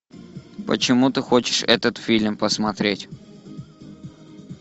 почему ты хочешь этот фильм посмотреть